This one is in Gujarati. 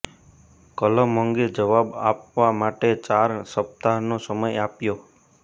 કલમ અંગે જવાબ આપવા માટે ચાર સપ્તાહનો સમય આપ્યો